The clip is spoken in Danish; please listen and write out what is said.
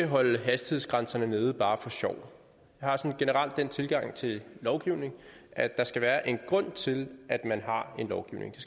holde hastighedsgrænserne nede bare for sjov jeg har sådan generelt den tilgang til lovgivning at der skal være en grund til at man har en lovgivning